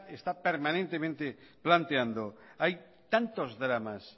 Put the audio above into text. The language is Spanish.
está permanentemente planteando hay tantos dramas